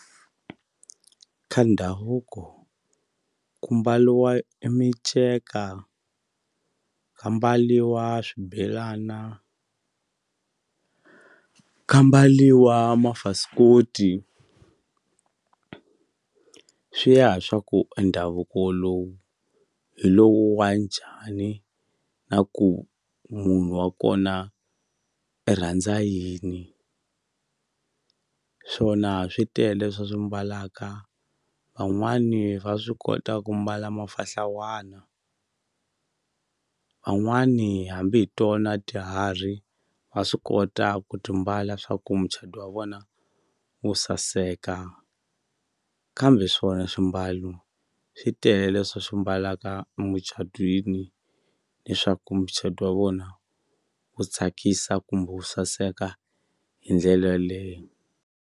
Ka ndhavuko ku mbaliwa e miceka ka mbaliwa swibelana ka mbaliwa ka swi ya hi swa ku e ndhavuko lowu hi lowu wa njhani na ku munhu wa kona i randza yini swona switele swa swi mbalaka van'wani va swi kota ku mbala mafahlawani van'wani hambi hi tona tiharhi va swi kota ku timbala swaku muchado wa vona wu saseka kambe swona swimbalo switele swi swi mbalaka muchadwini leswaku muchado wa vona wu tsakisa kumbe wu saseka hi ndlela yaleyo.